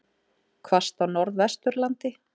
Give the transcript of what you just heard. Hvasst á Norðvesturlandi